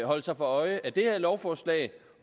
holde sig for øje at det her lovforslag